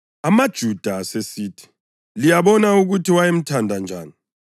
AmaJuda asesithi, “Liyabona ukuthi wayemthanda njani!”